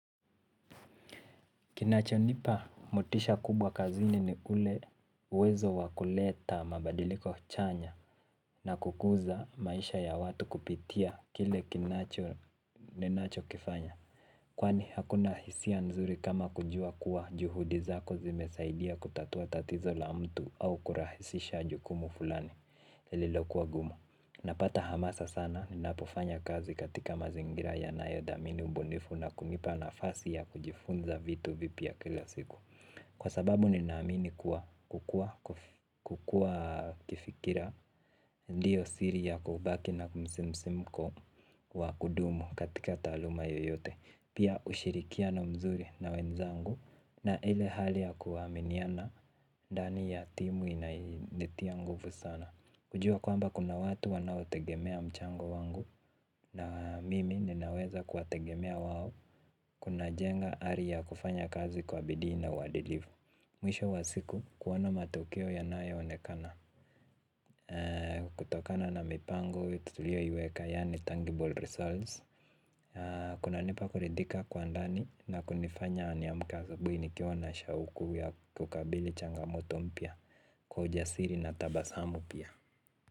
Kinacho nipa motisha kubwa kazini ni ule uwezo wakuleta mabadiliko chanya na kukuza maisha ya watu kupitia kile kinacho ninacho kifanya. Kwani hakuna hisia nzuri kama kujua kuwa juhudi zako zimesaidia kutatua tatizo la mtu au kurahisisha jukumu fulani lilokua gumu. Napata hamasa sana, ninapofanya kazi katika mazingira yanayodamini ubunifu na kunipa nafasi ya kujifunza vitu vipia kila siku. Kwa sababu ninamini kukua kifikira ndiyo siri ya kubaki na msimsimko wa kudumu katika taluma yoyote. Pia ushirikiano mzuri na wenzangu na ile hali ya kuaminiana ndani ya timu inanitia nguvu sana. Kujua kwamba kuna watu wanao tegemea mchango wangu na mimi ninaweza kuwategemea wawo kuna jenga ari ya kufanya kazi kwa bidii na wadilivu. Mwisho wa siku kuwona matukeo yanaonekana kutokana na mipango tutulioyueka yani tangible results. Kunanipa kuridhika kwa ndani na kunifanya niamke asubuhi nikiwa na shauku ya kukabidhi changamoto mpya kwa ujasiri na tabasamu pia.